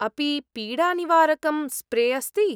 अपि पीडानिवारकं स्प्रे अस्ति?